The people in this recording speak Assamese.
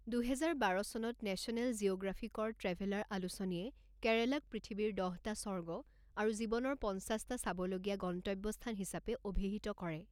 দুহেজাৰ বাৰ চনত নেশ্যনেল জিঅ'গ্ৰাফিকৰ ট্ৰেভেলাৰ আলোচনীয়ে কেৰালাক পৃথিৱীৰ দহটা স্বৰ্গ আৰু জীৱনৰ পঞ্চাছটা চাব লগীয়া গন্তব্যস্থান হিচাপে অভিহিত কৰে।